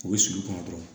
U bɛ sulu kɔnɔ dɔrɔn